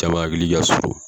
Caman hakili ka surun